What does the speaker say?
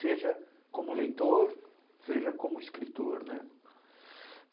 Seja como leitor, seja como escritor, né?